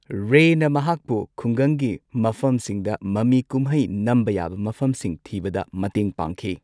ꯔꯦꯅꯃꯍꯥꯛꯄꯨ ꯈꯨꯡꯒꯪꯒꯤ ꯃꯐꯝꯁꯤꯡꯗ ꯃꯃꯤ ꯀꯨꯝꯍꯩ ꯅꯝꯕ ꯌꯥꯕ ꯃꯐꯝꯁꯤꯡ ꯊꯤꯕꯗ ꯃꯇꯦꯡ ꯄꯥꯡꯈꯤ꯫